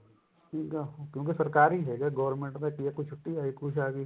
ਠੀਕ ਐ ਕਿਉਂਕਿ ਸਰਕਾਰੀ ਹੈਗਾ government ਦੇ ਕੁੱਛ ਛੁੱਟੀ ਆ ਗਈ ਕੋਈ ਕੁੱਛ